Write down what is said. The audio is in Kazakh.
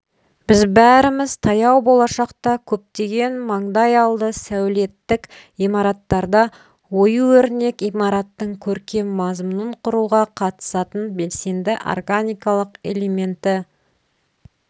біз бәріміз таяу болашақта көптеген маңдайалды сәулеттік имараттарда ою-өрнек имараттың көркем мазмұнын құруға қатысатын белсенді органикалық элементі